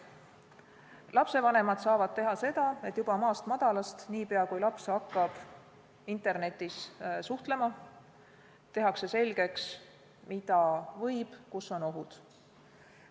Lapsevanemad saavad teha seda, et juba maast madalast, niipea kui laps hakkab internetis suhtlema, tehakse selgeks, mida võib, kus on ohud.